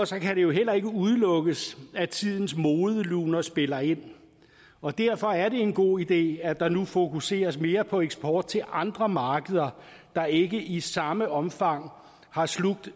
så kan det jo heller ikke udelukkes at tidens modeluner spiller ind og derfor er det en god idé at der nu fokuseres mere på eksport til andre markeder der ikke i samme omfang har slugt